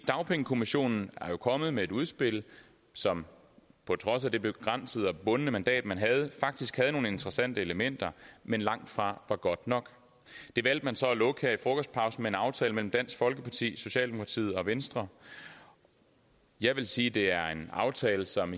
dagpengekommissionen er jo kommet med et udspil som på trods af det begrænsede og bundne mandat man havde faktisk havde nogle interessante elementer men langtfra var godt nok det valgte man så at lukke her i frokostpausen med en aftale mellem dansk folkeparti socialdemokratiet og venstre jeg vil sige at det er en aftale som